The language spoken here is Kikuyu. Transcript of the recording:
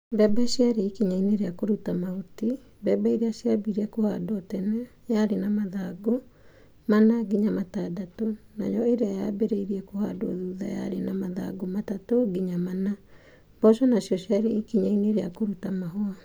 Mbembe ciarĩ ikinya-inĩ ria kuruta mahuti. Mbembe ĩrĩa ciambire kũhandwo tene yarĩ na mathangũ mana nginya matadatũ. Nayo ĩrĩa yaambire kũhandwo thutha yarĩ na mathangũ matatũ nginya mana. Mboco nacio ciarĩ ikinya-inĩ ria kũruta mahũa.